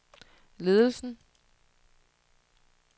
ledelsen